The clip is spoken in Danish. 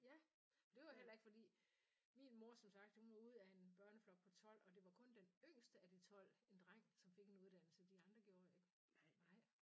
Ja for det var jo heller ikke fordi min mor som sagt hun var ud af en børneflok på 12 og det var kun den yngste af de 12 en dreng som fik en uddannelse de andre gjorde ikke nej